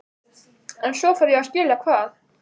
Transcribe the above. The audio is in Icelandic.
En svo fór ég að skilja hvað